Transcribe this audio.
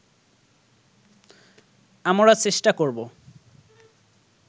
আমরা চেষ্টা করব